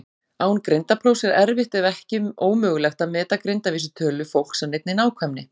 Án greindarprófs er erfitt ef ekki ómögulegt að meta greindarvísitölu fólks af neinni nákvæmni.